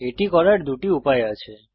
এটি করার দুটি উপায় আছে